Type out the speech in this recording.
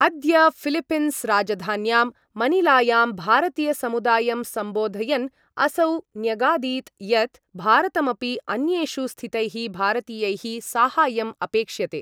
अद्य फिलीपीन्स्राजधान्यां मनीलायां भारतीयसमुदायं सम्बोधयन् असौ न्यगादीत् यत् भारतमपि अन्येषु स्थितैः भारतीयैः साहाय्यं अपेक्ष्यते।